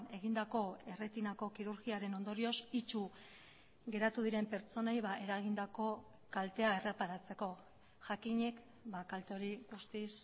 egindako erretinako kirurgiaren ondorioz itsu geratu diren pertsonei eragindako kaltea erreparatzeko jakinik kalte hori guztiz